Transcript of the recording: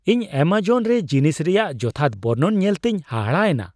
ᱤᱧ ᱮᱢᱚᱡᱚᱱ ᱨᱮ ᱡᱤᱱᱤᱥ ᱨᱮᱭᱟᱜ ᱡᱚᱛᱷᱟᱛ ᱵᱚᱨᱱᱚᱱ ᱧᱮᱞᱛᱮᱧ ᱦᱟᱦᱟᱲᱟᱜ ᱮᱱᱟ ᱾